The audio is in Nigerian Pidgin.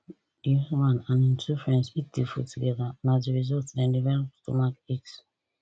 di husband and im two friends eat di food together and as a result dem develop stomachaches